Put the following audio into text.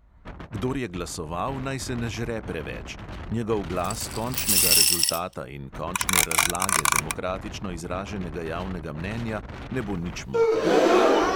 Kdor je glasoval, naj se ne žre preveč: njegov glas končnega rezultata in končne razlage demokratično izraženega javnega mnenja ne bo nič motil.